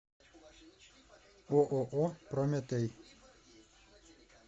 ооо прометей